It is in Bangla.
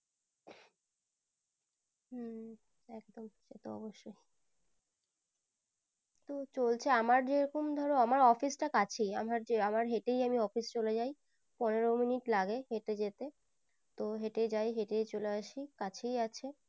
তো চলছে আমার যেরকম ধরো আমার office তা কাছেই আমার যে আমার হেঁটেই আমি office চলে যাই পনেরো মিনিট লাগে হেঁটেযেতে হেঁটেই যাই হেঁটেই চলে আসি খুব কাছেই আছে